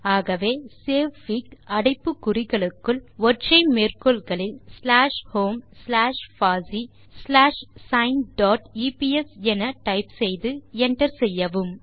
ஆகவே சேவ்ஃபிக் அடைப்பு குறிகளுக்குள் ஒற்றை மேற்கோள் குறிகளில் ஸ்லாஷ் ஹோம் ஸ்லாஷ் பாசி ஸ்லாஷ் சைன் டாட் எப்ஸ் என டைப் செய்து enter செய்யவும்